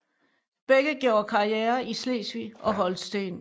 Begge gjorde karriere i Slesvig og Holsten